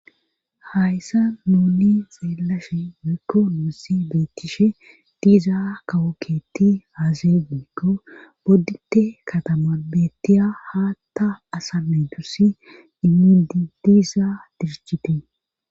Hayssa nunni xeelashe weekko nuussi beettishe diizaa kawokketti aase giekko boddite katama bettiya haatta asame dussi immi diiza dirichite